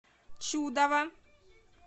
чудово